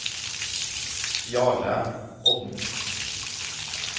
Jarle Odden